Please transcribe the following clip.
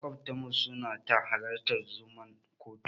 Maƙwabtanmu suna ta halartar zuman kotu.